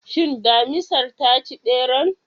Shin Damisar ta ci ɓeran?